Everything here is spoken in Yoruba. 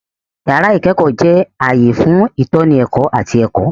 Yàrá ìkẹ́kọ̀ọ́ jẹ́ ààyè fún ìtọ́ni ẹ̀kọ́ àti ẹ̀kọ́.